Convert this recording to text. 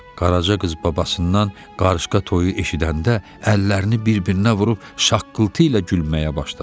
Qaraca qız babasından qarışqa toyu eşidəndə əllərini bir-birinə vurub şaqqıltı ilə gülməyə başladı.